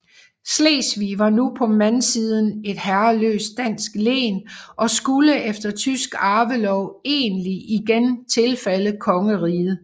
Slesvig var nu på mandsiden et herreløst dansk len og skulle efter tysk arvelov egentlig igen tilfalde kongeriget